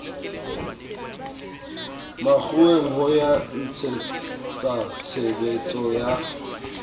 makgoweng ho ya ntshetsatshebetso ya